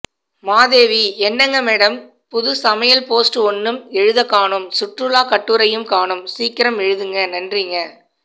மாதேவி என்னங்க மேடம் புது சமையல் போஸ்ட் ஒண்ணும் எழுதக்காணோம் சுற்றுலா கட்டுரையும் காணோம் சீக்கிரம் எழுதுங்க நன்றிங்க